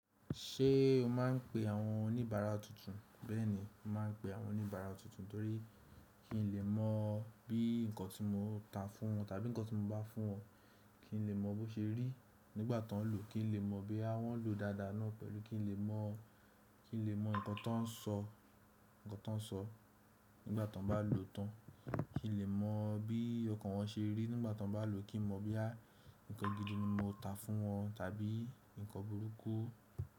Ṣé o máà ń pe àwọn oníbàárà tuntun? Bẹ́ẹ̀ni, mo máa ń pe àwọn oníbàárà tuntun, torí kí n lè mọ bí nǹkan tí mo ta fún wọn tàbí nǹkan tí mo bá fún wọn, kí n lè mọ bó ṣe rí nígbà tàn lò, kí n lè mọ boya wọ́n lò dáadáa náà pẹ̀lú kí n lè mọ, kí n lè mọ nǹkan tán sọ, nǹkan tán sọ nígbà tàn bá lò tán, kí n lè mọ bí ọkàn wọn ṣe rí nígbà tàn bá lò, kí n mọ boya nǹkan gidi ni mo ta fún wọn tàbí nǹkan burúkú.